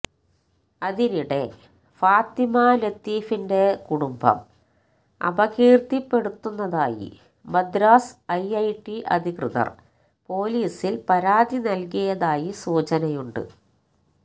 അതിനിടെ ഫാത്തിമ ലത്തീഫിന്റെ കുടുംബം അപകീര്ത്തിപ്പെടുത്തുന്നതായി മദ്രാസ് ഐഐടി അധികൃതര് പൊലീസില് പരാതി നല്കിയതായി സൂചനയുണ്ട്